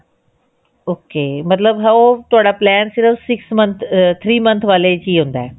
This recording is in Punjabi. ok ਮਤਲਬ ਉਹ ਤੁਹਾਡਾ plan ਸਿਰਫ ah three month ਵਾਲੇ ਚ ਹੀ ਹੁੰਦਾ